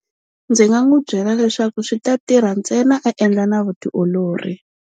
Ndzi nga n'wi byela leswaku swi ta tirha ntsena a endla na vutiolori.